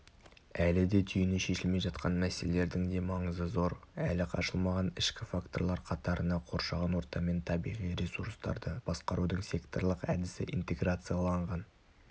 әлі де түйіні шешілмей жатқан мәселелердің де маңызы зор әлі ашылмаған ішкі факторлар қатарына қоршаған орта мен табиғи ресурстарды басқарудың секторлық әдісі интеграцияланған